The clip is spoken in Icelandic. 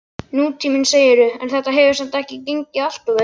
Nútíminn, segirðu, en þetta hefur samt ekki gengið alltof vel?